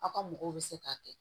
Aw ka mɔgɔw bɛ se k'a kɛ